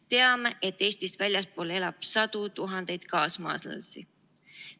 Teame, et Eestist väljaspool elab sadu tuhandeid kaasmaalasi.